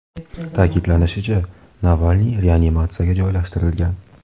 Ta’kidlanishicha, Navalniy reanimatsiyaga joylashtirilgan.